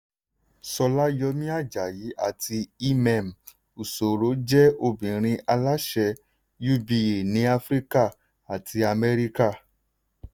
sola yomi-ajayi àti emem usoro jẹ́ obìnrin aláṣẹ uba ní africa àti amẹ́ríkà.